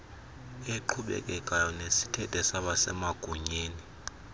eqhubekekayo nesithethe sabasemagunyeni